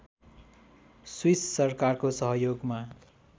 Swiss सरकारको सहयोगमा